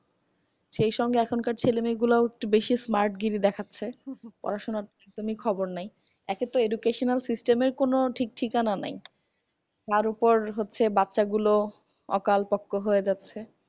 সেই সঙ্গে এখনকার ছেলেমেয়েগুলোও একটু বেশি smart গিরি দেখাস্সে। পড়াশুনার একদমই খবর নেই একেতো educational system র কোনো ঠিক ঠিকানা নেই তার উপর হচ্ছে বাচ্চাগুলো অকালপক্কো হয়ে যাচ্ছে।